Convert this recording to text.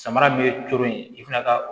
Samara bɛ cooloyi i fana ka